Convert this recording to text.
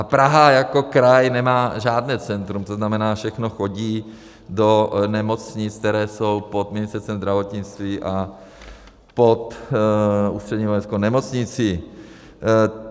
A Praha jako kraj nemá žádné centrum, to znamená, všechno chodí do nemocnic, které jsou pod Ministerstvem zdravotnictví a pod Ústřední vojenskou nemocnicí.